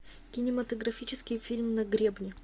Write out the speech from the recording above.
кинематографический фильм на гребне